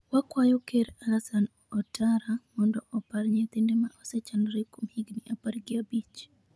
Wakwayo Ker Alassane Ouattara mondo opar nyithinde ma osechandore kuom higni apar gi abich.